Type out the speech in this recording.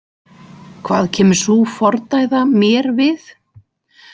Hvað kemur sú fordæða mér við?